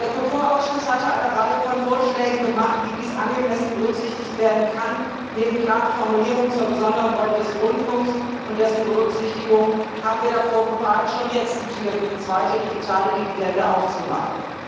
Der Kulturausschuss hatte eine Reihe von Vorschlägen gemacht, wie dies angemessen berücksichtigt werden kann. Neben klaren Formulierungen zur besonderen Rolle des Rundfunks und dessen Berücksichtigung haben wir davor gewarnt, schon jetzt die Tür für die zweite digitale Dividende aufzumachen.